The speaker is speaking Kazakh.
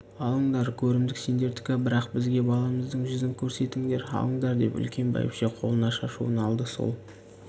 алыңдар көрімдік сендердікі бірақ бізге баламыздың жүзін көрсетіңдер алыңдар деп үлкен бәйбіше қолына шашуын алды сол